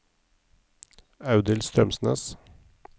Audhild Strømsnes